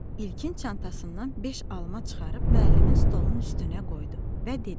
İlkin çantasından beş alma çıxarıb müəllimin stolunun üstünə qoydu və dedi: